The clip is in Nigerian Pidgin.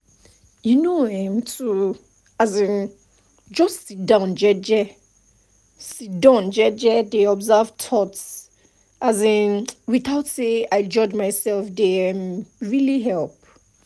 you know[um]to um just sidon jeje sidon jeje dey observe thoughts um without say i judge myself dey um really help